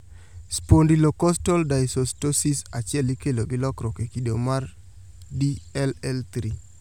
Spondylocostal dysostosis achiel ikelo gi lokruok e kido mar DLL3